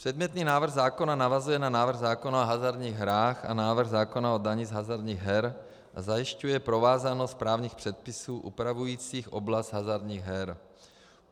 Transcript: Předmětný návrh zákona navazuje na návrh zákona o hazardních hrách a návrh zákona o dani z hazardních her a zajišťuje provázanost právních předpisů upravujících oblast hazardních her.